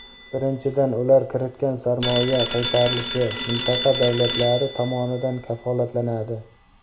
Birinchidan, ular kiritgan sarmoya qaytarilishi mintaqa davlatlari tomonidan kafolatlanadi.